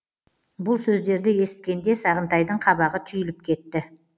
бұл сөздерді есіткенде сағынтайдың қабағы түйіліп кетті